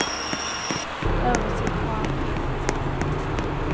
Över sig har han en filt.